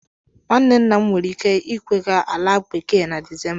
Nwanne nna m nwere ike ịkwaga ala bekee na Disemba.